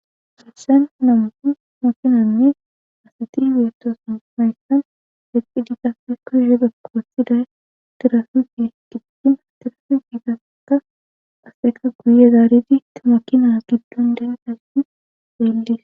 Helsen namupu makinanne asati wiyetosn mayqan dexxidi qafe koshe bekko wossiday tirafifi giqtina tilafifigaeka aseka guye zaaridi tumakina giddon denassi deellis.